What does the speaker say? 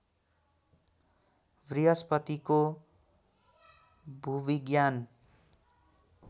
बृहस्पतिको भूविज्ञान